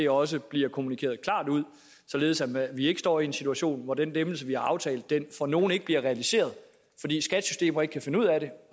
også bliver kommunikeret klart ud således at vi ikke stå i en situation hvor den lempelse vi har aftalt for nogle ikke bliver realiseret fordi skats systemer ikke kan finde ud af det og